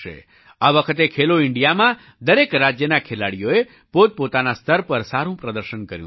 આ વખતે ખેલો ઇન્ડિયામાં દરેક રાજ્યના ખેલાડીઓએ પોતપોતાના સ્તર પર સારું પ્રદર્શન કર્યું છે